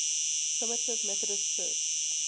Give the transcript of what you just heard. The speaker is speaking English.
primitive methodist church